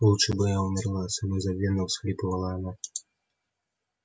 лучше бы я умерла самозабвенно всхлипывала она